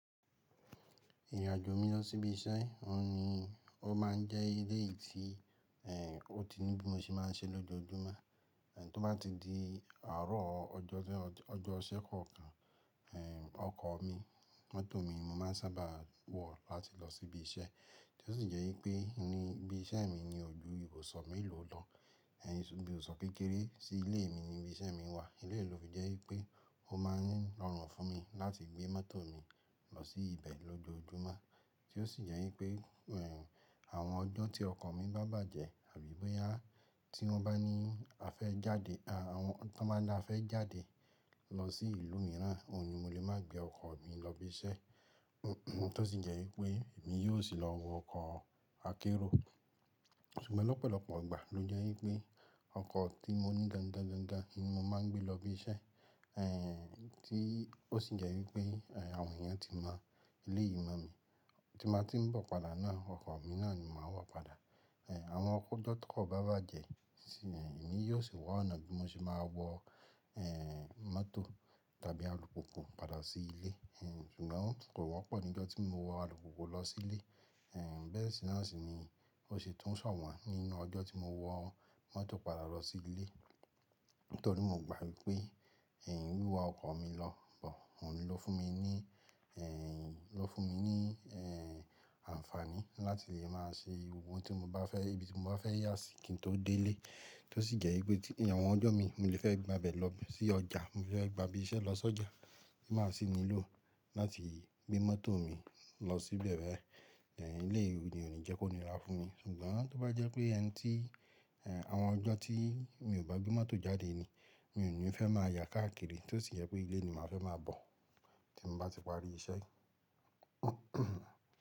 Ìrìnàjò mi lọ sí ibi iṣẹ́, òun ni ó má ń jẹ́ eléyi tí, ẹ́, ó ti ní bí mo ṣe má ń ṣe lójoojúmọ́. Ẹ̀, tó bá ti di àárọ̀ ọjọ́ tí ọjọ́ ìṣẹ́ kọ̀ọ̀kan, ẹ́, ọkọ̀ mi, mọ́tò mi, mo má ń sábà wọ̀ láti lọ sí ibi iṣẹ́. Tí ó sì jẹ́ wípé ní ibi iṣẹ́ mi ni ojú ìbùsọ̀ mélòó lọ, ẹ́, ṣùgbon ìbùsọ̀ kékeré sí ilé mi ni ibi iṣẹ́ mi wà. Ilé mi ló fi jẹ́ wípé ó má ń rọrùn fún mi láti gbé mọ́tò mi lọ sí ibẹ̀ lójoojúmọ́. Tí ó sì jẹ́ wípé, ẹ́, àwọn ọjọ́ tí ọkọ̀ mi bá bàjẹ́ àbí bóyá tí wọ́n bá ní a fẹ́ jáde, a, àwọn tí wọ́n bá dá a fẹ́ jáde lọ sí ìlú mìíràn, òun ni mo lè má gbé ọkọ̀ mi lọ ibi iṣẹ́. Tó sì jẹ́ wípé èmi yóò sì lọ wọ ọkọ̀ akẹ́rù. Ṣùgbọ́n lọ́pọ̀lọpọ̀ ìgbà ló jẹ́ wípé ọkọ̀ tí mo ní gan gan gan gan gan ni mo má ń gbé lọ ibi iṣẹ́. Ẹ̀, tí ó sì jẹ́ wípé, ẹ́, àwọn èèyàn tí mọ̀ eléyi man mi, tí má tí ń bọ̀ padà náà, ọkọ̀ mi náà ni màá wọ̀ padà. Ẹ̀, àwọn ọjọ́ tí kò bá bàjẹ́, èmi yóò sì wọ ọ̀nà bí mo ṣe máa wọ, ẹ́, mọ́tò tàbí alùpùpù padà sí ilé. Ẹ̀n, ṣùgbọ́n kò wọ́pọ̀ ní ọjọ́ tí mo wọ alùpùpù lọ sí ilé. Ẹ̀n, bẹ́ẹ̀ sì náà sì ni ó ṣe tún ṣọ̀wọ́n nínú ọjọ́ tí mo wọ mọ́tò padà lọ sí ilé. Nítorí mo gbàgbọ́ wípé, ẹ̀n, wíwa ọkọ̀ mi lọ bọ̀, òun ló fún mi ní, ẹ̀n, ló fún mi ní, ẹ̀n, àǹfààní láti lè má ṣe ohun tí mo bá fẹ́, ibi tí mo bá fẹ́ yá sí kí n tó dé ilé. Tí ó sì jẹ́ wípé tí niàwọn ọjọ́ mi mo lè fẹ́ gba bẹ̀ lọ sí ọjà, mo lè fẹ́ gba ibi iṣẹ́ lọ sọ́jà, má sì nílò láti gbé mọ́tò mi lọ síbẹ̀ bẹ́ẹ̀. Ẹ̀n, eléyi ni ò ní jẹ́ kó ni rà fún mi. Ṣùgbọ́n tó bá jẹ́ pé ẹni tí, ẹ̀n, àwọn ọjọ́ tí mi ò bá gbé mọ́tò jáde ni, mi ò ní fẹ́ má ya káàkiri. Tí ó sì jẹ́ pé ilé ni màá fẹ́ má bọ̀ tí mo bá ti parí iṣẹ́.